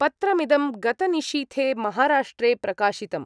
पत्रमिदं गतनिशीथे महाराष्ट्रे प्रकाशितम्।